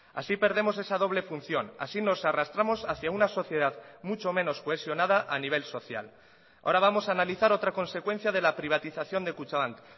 así perdemos esa doble función así nos arrastramos hacia una sociedad mucho menos cohesionada a nivel social ahora vamos a analizar otra consecuencia de la privatización de kutxabank